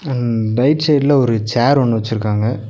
ன் டைட் சைட்ல ஒரு சேர் ஒன்னு வச்சிருக்காங்க.